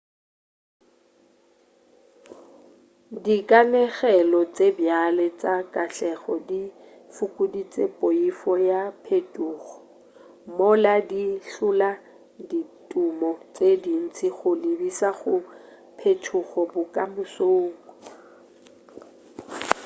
dikanegelo tše bjale tša katlego di fokoditše poifo ya phetogo mola di hlola ditumo tše dintši go lebiša go phetogo bokamosong